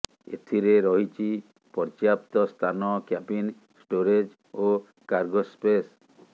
ଏଥିରେ ରହିଛି ପର୍ଯ୍ୟାପ୍ତ ସ୍ଥାନ କ୍ୟାବିନ୍ ଷ୍ଟୋରେଜ୍ ଓ କାର୍ଗୋ ସ୍ପେସ୍